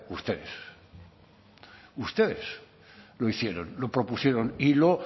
ustedes ustedes lo hicieron lo propusieron y lo